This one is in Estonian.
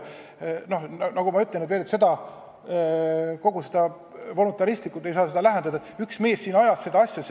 Nagu ma ütlesin, ei saa läheneda voluntaristlikult ega öelda, et üks mees siin ajas seda asja.